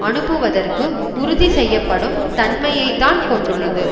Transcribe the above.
அனுப்புவதற்கு உறுதி செய்யப்படும் தன்மையை தான் கொண்டுள்ளது